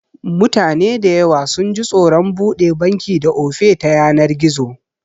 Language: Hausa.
Mutane dayawa sunji tsoron buɗe banki da Ofe ta yanar gizo